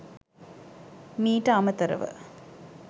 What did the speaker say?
මීට අමතරව